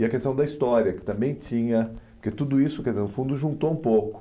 E a questão da história, que também tinha... Porque tudo isso entendeu, no fundo, juntou um pouco.